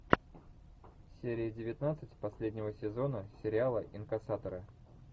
серия девятнадцать последнего сезона сериала инкассаторы